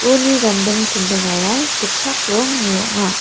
uni ganding chindingara gitchak rongni ong·a.